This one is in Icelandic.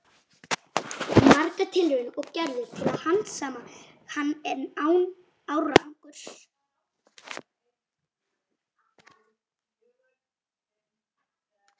Margar tilraunir voru gerðar til að handsama hann, en án árangurs.